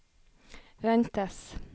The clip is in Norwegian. ventes